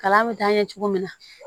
Kalan bɛ taa ɲɛ cogo min na